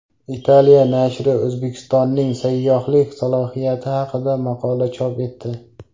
Italiya nashri O‘zbekistonning sayyohlik salohiyati haqida maqola chop etdi.